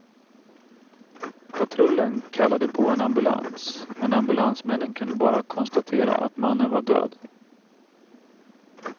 Patrullen kallade på en ambulans, men ambulansmännen kunde bara konstatera att mannen var död.